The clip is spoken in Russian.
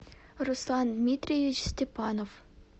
руслан дмитриевич степанов